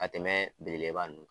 Ka tɛmɛ belebeleba ninnu kan